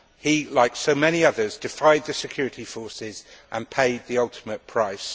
He, like so many others, defied the security forces and paid the ultimate price.